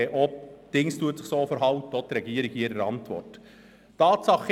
Auch die Regierung verhält sich in ihrer Antwort so.